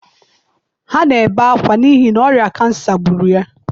ha na-ebe akwa n’ihi na ọrịa kansa gburu ya.